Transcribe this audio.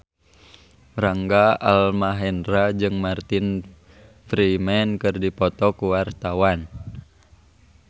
Rangga Almahendra jeung Martin Freeman keur dipoto ku wartawan